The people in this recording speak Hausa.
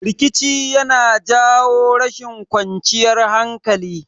Rikici yana jawo rashin kwanciyar hankali